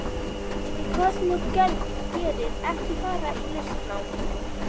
En hvað sem þú gerir, ekki fara í listnám.